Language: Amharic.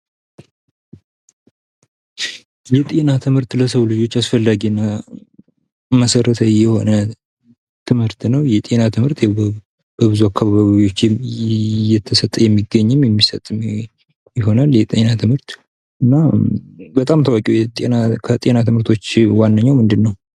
የጤና ትምህርት ለሰው ልጆች አስፈላጊና መሰረታዊ የሆነ ትምህርት ነው። የጤና ትምህርት በብዙ አካባቢዎች እየተሰጠ የሚገኝም የሚሰጥም ይሆናል የጤና ትምህርት ፤ እና በጣም ታዋቂው ከጤና ትምህርቶች ዋነኛው ምንድነው?